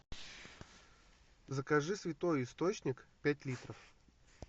закажи святой источник пять литров